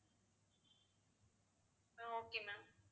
ah okay ma'am